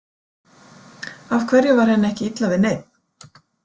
Af hverju var henni ekki illa við neinn?